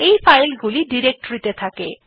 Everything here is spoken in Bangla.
এই ফাইলগুলি ডিরেক্টরীতে থাকে